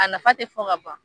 A nafa te fɔ ka ban